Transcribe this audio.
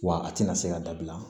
Wa a tɛna se ka dabila